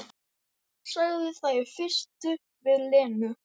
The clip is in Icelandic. Hann var mikill á velli, áþekkur Lúter sjálfum í útliti.